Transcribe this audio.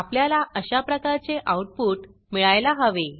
आपल्याला अशाप्रकारचे आऊटपुट मिळायला हवे